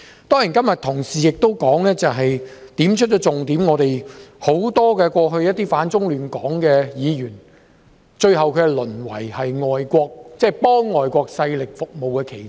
當然，同事今天亦指出了重點，就是以往許多反中亂港的議員，最後淪為替外國勢力服務的棋子。